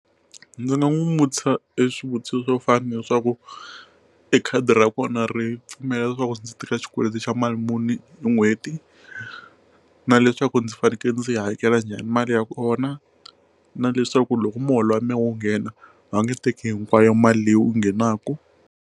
Ndzi nga n'wi vutisa swivutiso swo fana na leswaku i khadi ra kona ri pfumela leswaku ndzi teka xikweleti xa mali muni hi n'hweti na leswaku ndzi fanekele ndzi yi hakela njhani mali ya kona na leswaku loko muholo wa me u nghena va nge teki hinkwayo mali leyi wu nghenaka.